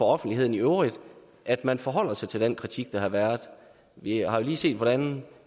offentligheden i øvrigt at man forholder sig til en kritik der har været vi har jo lige set hvordan